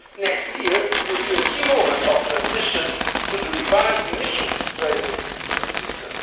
sustainable. Next year will be a key moment of transition to the revised Emissions Trading